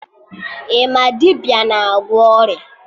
Ị ma dibịa na-agwọ ọrịa?